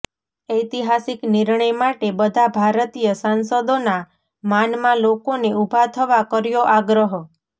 ઐતિહાસિક નિર્ણય માટે બધા ભારતીય સાંસદોના માનમાં લોકોને ઉભા થવા કર્યો આગ્રહ